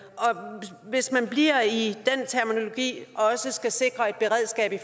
hvis man bliver i den terminologi også skal sikre et beredskab det